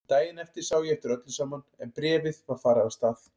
Daginn eftir sá ég eftir öllu saman en bréfið var farið af stað.